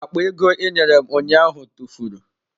Akpa ego ị nyere m ụnyaahụ tụfuru.